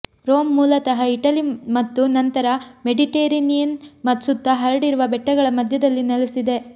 Rome ಮೂಲತಃ Italy ಮತ್ತು ನಂತರ ಮೆಡಿಟರೇನಿಯನ್ ಸುತ್ತ ಹರಡಿರುವ ಬೆಟ್ಟಗಳ ಮಧ್ಯದಲ್ಲಿ ನೆಲೆಸಿದೆ